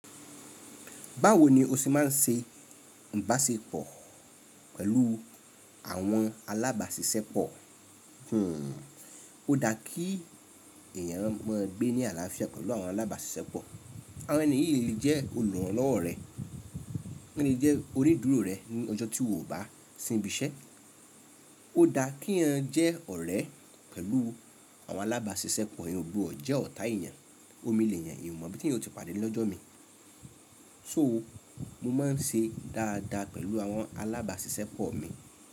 Báwo ni o ṣe má n se ń bá ṣe pọ̀ pẹ̀lú àwọn alábàásisẹ́pọ̀? O dá kí èèyàn mo n gbé ní àlàáfíà pẹ̀lú àwọn alábàásisẹ́pọ̀. Àwọn ènì yí le jẹ́ olùrànlọ́wọ́ rẹ, wọ́n le jẹ́ onídùúró rẹ ní ọjọ́ tí ò bá si n ibi iṣẹ́. O dá kí wọ jẹ́ ọ̀rẹ́ pẹ̀lú àwọn alábaásisẹ́pọ̀, won o gbodo jẹ́ ọ̀tá èèyàn. Omi leeyan, eeyan o mọ ibí tí eeyan ó ti pàdé lọ́jọ́ mi. So mo má n ṣe dáadáa pẹ̀lú àwọn alábàásisẹ́pọ̀ mi.